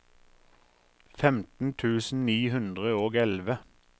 femten tusen ni hundre og elleve